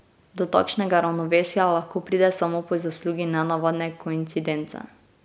Do takšnega ravnovesja lahko pride samo po zaslugi nenavadne koincidence.